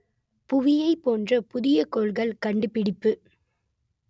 புவியைப் போன்ற புதிய கோள்கள் கண்டுபிடிப்பு